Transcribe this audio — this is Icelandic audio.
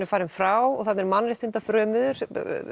er farin frá og þarna eru mannréttindafrömuðir